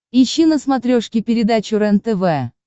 ищи на смотрешке передачу рентв